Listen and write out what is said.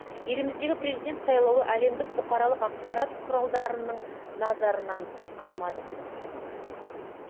еліміздегі президент сайлауы әлемдік бұқаралық ақпарат құралдарынын назарынан тыс қалмады